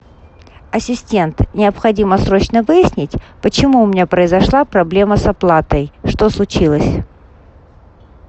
ассистент необходимо срочно выяснить почему у меня произошла проблема с оплатой что случилось